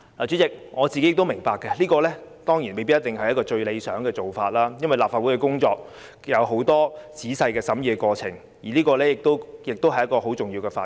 主席，我明白這未必是最理想的做法，因為立法工作有很多仔細審議的過程，而且《條例草案》是一項很重要的法案。